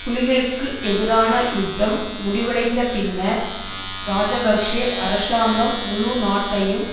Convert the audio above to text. புலிகளுக்கு எதிரான யுத்தம் முடிவடைந்த பின்னர் இராஜபக்ஷ அரசாங்கம் முழு நாட்டையும்